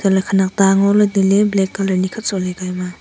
laa khanak ta ngoley tailey black colour nikhat shohley ka emaa.